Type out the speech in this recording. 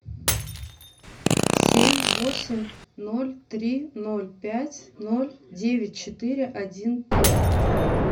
семь восемь ноль три ноль пять ноль девять четыре один три